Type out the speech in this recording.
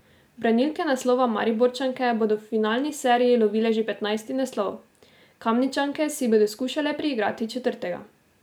Branilke naslova, Mariborčanke, bodo v finalni seriji lovile že petnajsti naslov, Kamničanke si bodo skušale priigrati četrtega.